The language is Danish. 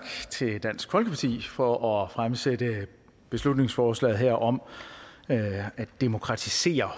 til dansk folkeparti for at fremsætte beslutningsforslaget her om at at demokratisere